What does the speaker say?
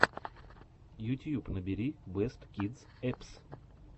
ютьюб набери бэст кидс эппс